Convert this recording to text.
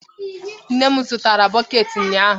Nne m zụtara bọket ụnyaahụ.